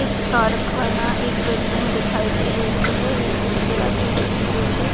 एक कारखाना एक बिल्डिंग दिखाई दे रही है एक जिसके आजु-बाजु पेड़ है।